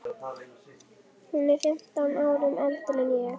Hún er fimmtán árum eldri en ég.